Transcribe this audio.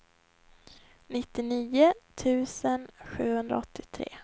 nittionio tusen sjuhundraåttiotre